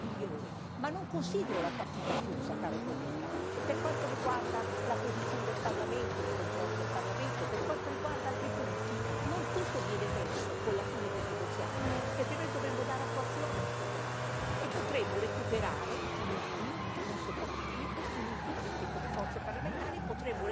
Ma non considero la partita chiusa, caro collega, e per quanto riguarda la posizione del Parlamento, il controllo del Parlamento, per quanto riguarda altri punti non tutto viene perso con la fine del negoziato, perché noi dovremo dare attuazione a tutto questo e potremo recuperare, uniti non separati, uniti tutti come forze parlamentari, potremo recuperare quello che abbiamo perso nel negoziato.